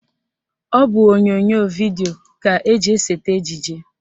Ọ bụ onyonyo vidio ka eji esete ejije